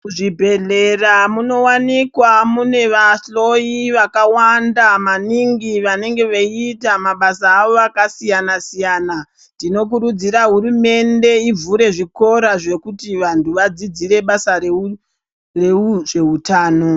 Muzvibhedhlera munowanikwa mune vahloyi vakawanda maningi vanenge veiita mabasa avo akasiyana-siyana. Tinokurudzira hurumende ivhure zvikora zvekuti vantu vadzidzire basa rezveutano.